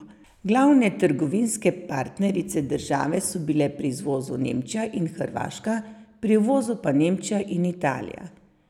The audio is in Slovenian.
Glavne trgovinske partnerice države so bile pri izvozu Nemčija in Hrvaška, pri uvozu pa Nemčija in Italija.